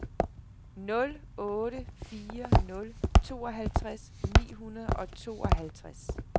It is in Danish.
nul otte fire nul tooghalvtreds ni hundrede og tooghalvtreds